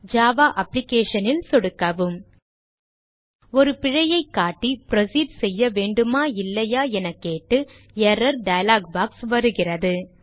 Java application ல் சொடுக்கவும் ஒரு பிழையை காட்டி புரோசீட் செய்யவேண்டுமா இல்லையா என கேட்டு எர்ரர் டயலாக் பாக்ஸ் வருகிறது